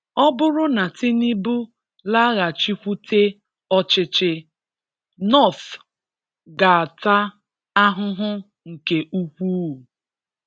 Ọ bụrụ na Tinubu laghachikwute ọchịchị, North ga-ata ahụhụ nke ukwuu.